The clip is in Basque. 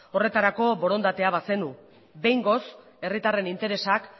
horretarako borondatea bazenu behingoz herritarren interesak